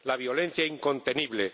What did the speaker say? la violencia, incontenible